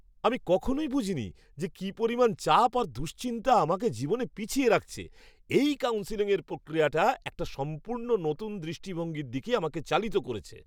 আমি কখনই বুঝিনি যে কী পরিমাণ চাপ আর দুশ্চিন্তা আমাকে জীবনে পিছিয়ে রাখছে। এই কাউন্সেলিংয়ের প্রক্রিয়াটা একটা সম্পূর্ণ নতুন দৃষ্টিভঙ্গির দিকে আমাকে চালিত করেছে!